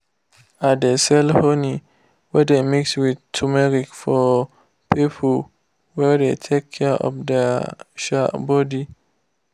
i de sell honey wey dey wey dey mix with tumeric for people wey de take care of their um body.